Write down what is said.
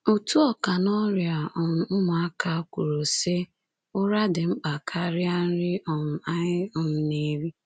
Otu ọkà n’ọrịa um ụmụaka kwuru, sị: “Ụra dị mkpa karịa nri um anyị um na-eri.